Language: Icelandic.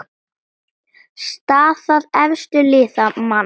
Staða efstu liða: Man.